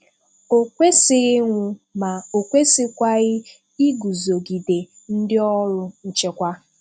O kwesịghị ịnwụ, ma o kwesịkwaghị iguzogide ndị ọrụ nchekwa.